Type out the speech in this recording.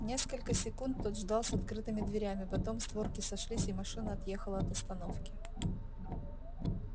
несколько секунд тот ждал с открытыми дверями потом створки сошлись и машина отъехала от остановки